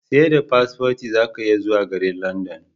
Seda paspoti zaka iya zuwa garin London